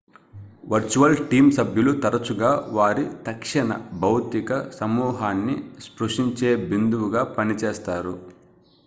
virtual team సభ్యులు తరచుగా వారి తక్షణ భౌతిక సమూహాన్ని స్పృశించే బిందువుగా పనిచేస్తారు